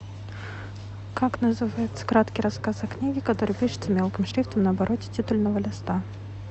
как называется краткий рассказ о книге который пишется мелким шрифтом на обороте титульного листа